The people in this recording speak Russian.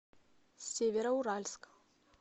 североуральск